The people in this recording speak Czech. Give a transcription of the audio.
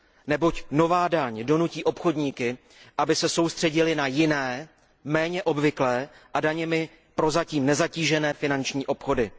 Neboť nová daň donutí obchodníky, aby se soustředili na jiné, méně obvyklé a daněmi prozatím nezatížené finanční obchody.